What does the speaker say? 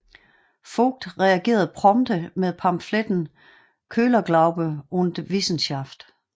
Vogt reagerede prompte med pamfletten Köhlerglaube und Wissenschaft